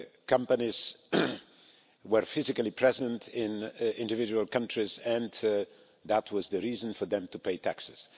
companies were physically present in individual countries, and that was the reason for them to pay taxes.